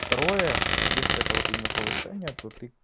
второе если это вот именно повышение то ты